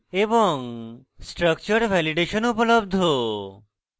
structure validation উপলব্ধ